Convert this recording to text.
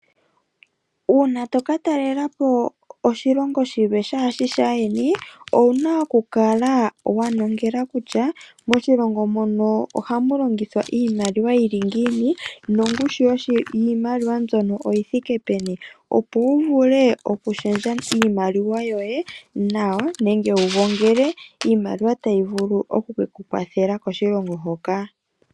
Uuna toka talelapo oshilongo shilwe shaashi shaayeni owuna okukala wanongela kutya moshilongo mono ohamulongithwa iimaliwa yili ngiini, nongushu yiimaliwa mbyono oyithike peni. Opo wu vule okushendja iimaliwa yoye nawa nenge wugongele iimaliwa tayi vulu oku ke kukwathele koshilongo hoka.